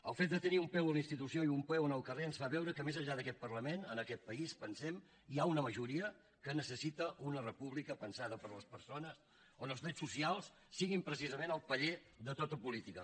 el fet de tenir un peu a la institució i un peu en el carrer ens fa veure que més enllà d’aquest parlament en aquest país pensem hi ha una majoria que necessita una república pensada per a les persones on els drets socials siguin precisament el paller de tota política